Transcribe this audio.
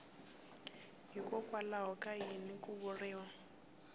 hikwalaho ka yini ku vuriwa